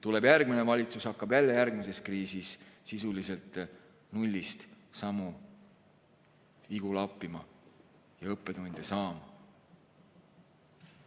Tuleb järgmine valitsus ja hakkab jälle järgmises kriisis sisuliselt nullist samu vigu lappima ja õppetunde saama.